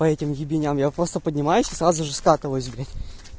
по этим ебеням я просто поднимаюсь и сразу же скатываюсь блять